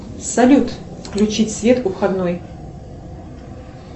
салют включить свет у входной